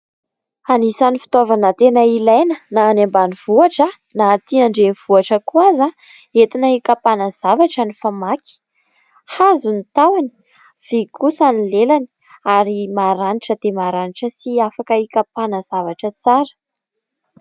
Anisany fitoavana tena ilaina na any ambanivohatra na atỳ andreninvohitra koa aza. Entina hikampana zavatra ny famaky hazo ny tahaony, vy kosa ny lelany, ary maharanitra dia maharanitra sy afaka hikapana zavatra tsara.